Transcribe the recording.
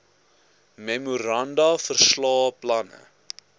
memoranda verslae planne